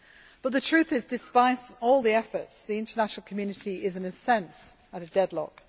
But the truth is that, despite all the efforts, the international community is, in a sense, at a deadlock.